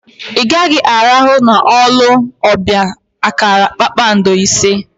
I gaghi arahu na olu obia akara kpakpando ise!